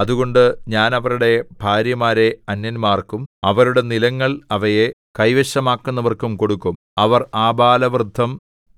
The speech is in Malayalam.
അതുകൊണ്ട് ഞാൻ അവരുടെ ഭാര്യമാരെ അന്യന്മാർക്കും അവരുടെ നിലങ്ങൾ അവയെ കൈവശമാക്കുന്നവർക്കും കൊടുക്കും അവർ ആബാലവൃദ്ധം